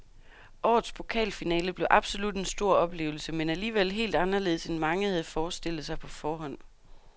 Årets pokalfinale blev absolut en stor oplevelse, men alligevel helt anderledes end mange havde forestillet sig på forhånd.